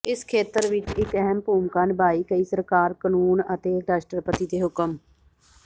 ਇਸ ਖੇਤਰ ਵਿੱਚ ਇੱਕ ਅਹਿਮ ਭੂਮਿਕਾ ਨਿਭਾਈ ਕਈ ਸਰਕਾਰ ਕਾਨੂੰਨ ਅਤੇ ਰਾਸ਼ਟਰਪਤੀ ਦੇ ਹੁਕਮ